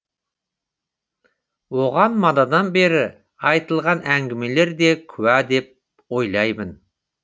оған манадан бері айтылған әңгемелерім де куә деп ойлаймын